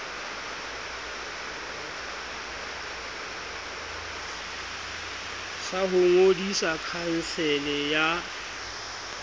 sa ho ngodisa khansele ya